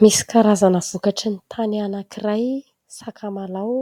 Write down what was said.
Misy karazana vokatry ny tany anankiray, sakamalao